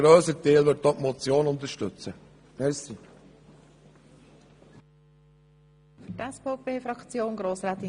Die glp-Fraktion unterstützt das Postulat voll und ganz;